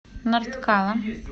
нарткала